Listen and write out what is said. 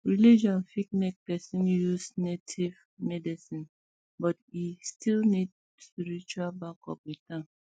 religion fit make person use um native um medicine but e still need spiritual backup with am